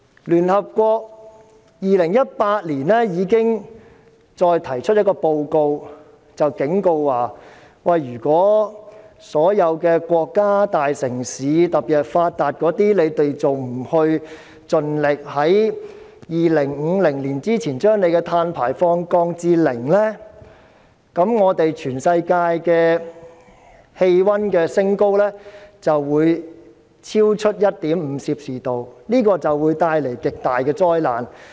聯合國於2018年已經再發表報告，警告如果所有國家、大城市，特別是發達的，還不盡力在2050年之前將各自的碳排放量降至零，全世界將升溫超過 1.5℃， 這會帶來極大的災難。